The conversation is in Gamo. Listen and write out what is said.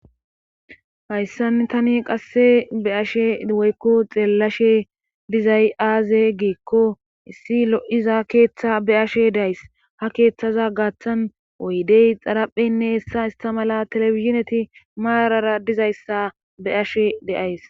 Hayssan tani qasse be ashe woykko xeellashe dizay aaze geekko issi lo7iza keeththa be ashe days ha keeththaza gaaththan woydey xarapheynne hessa istamala telefizineti maarara dizayssa be ashe deays.